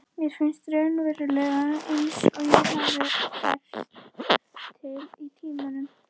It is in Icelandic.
Mér finnst raunverulega einsog ég hafi færst til í tímanum.